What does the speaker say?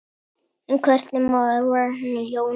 En hvernig maður var Jónas?